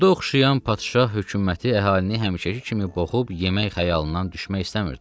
Qurda oxşayan padşah hökuməti əhalini həmişəki kimi boğub, yemək xəyalından düşmək istəmirdi.